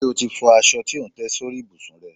Ṣe o ti fọ aṣọ tí ò ń tẹ́ sórí ìbùsùn rẹ?